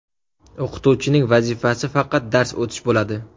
O‘qituvchining vazifasi faqat dars o‘tish bo‘ladi.